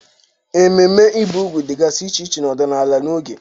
Ememe ibi úgwù dịgasị iche iche n'ọdịnala na oge.